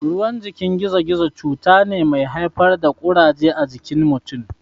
Ruwan jikin gizo-gizo cuta ne mai haifar da Ƙuraje a jikin mutun.